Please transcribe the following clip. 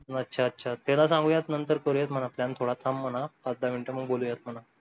अच्छा अच्छा त्याला सांगूयात नंतर करूयात म्हणा plan थोडा थांब म्हणा पाच दहा मिनिट मग बोलूयात म्हणा